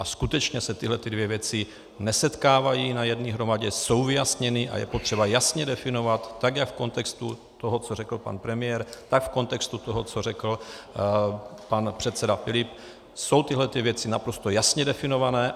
A skutečně se tyhlety dvě věci nesetkávají na jedné hromadě, jsou vyjasněny a je potřeba jasně definovat tak, jak v kontextu toho, co řekl pan premiér, tak v kontextu toho, co řekl pan předseda Filip, jsou tyhlety věci naprosto jasně definované.